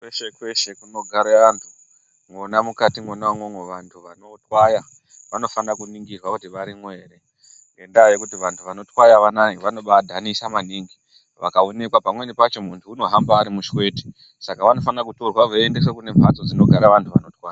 Kweshe kweshe kunogare vantu mwona mukati mwona umomo vantu vanotwaya vanofanira kuningirwa kuti varino ere. Ngendaa yekuti vantu vanotwaya vanava vanobaadhanisa maningi, pamweni pacho muntu unobaahamba ari mushwete saka anofanire kutorwa veiendeswa kumbatso dzinogara vanotwaya.